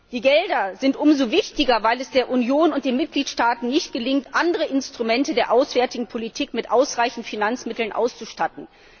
Die Gelder sind umso wichtiger, als es der Union und den Mitgliedstaaten nicht gelingt, andere Instrumente der auswärtigen Politik mit ausreichenden Finanzmitteln auszustatten.